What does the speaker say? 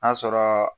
N'a sɔrɔ